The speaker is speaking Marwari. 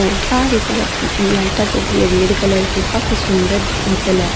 और सारी तरफ लाइटाँ जल रही है रेड कलर की और काफी सुन्दर होटल है।